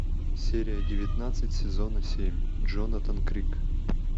серия девятнадцать сезона семь джонатан крик